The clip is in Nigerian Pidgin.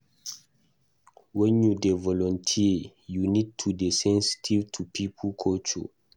When you dey volunteer, you need to dey sensitive to pipo culture